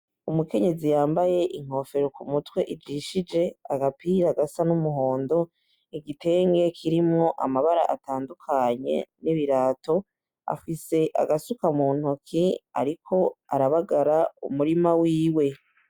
Umukenyezi yambaye inkofero ku mutwe ijishije, agapira gasa n'umuhondo, igitenge kirimwo amabara atandukanye n'ibirato, afise agasuka mu ntoki ariko arabagara umurima wiwe.